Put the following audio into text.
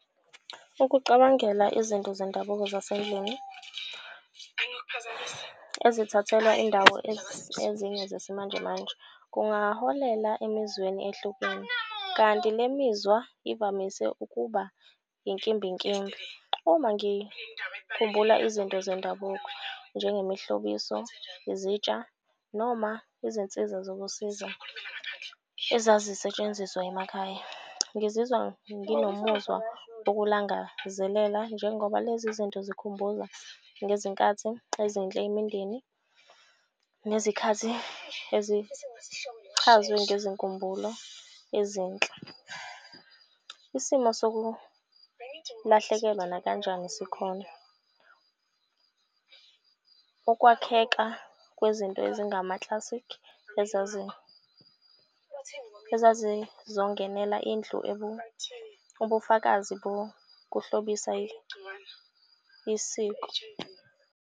Ukucabangela izinto zendabuko zasendlini ezithathelwa indawo ezinye zesimanjemanje kungaholela emizweni ehlukene. Kanti le mizwa ivamise ukuba inkimbinkimbi. Uma ngikhumbula izinto zendabuko njengemihlobiso, izitsha noma izinsiza zokusiza ezazisetshenziswa emakhaya. Ngizizwa nginomuzwa okulangazelela njengoba lezi zinto zikhumbuza ngezikathi ezinhle imindeni, nezikhathi ezichazwe ngezinkumbulo ezinhle. Isimo sokulahlekelwa nakanjani sikhona, ukwakheka kwezinto ezingama-classic ezazizongenela indlu ubufakazi bokuhlobisa isiko.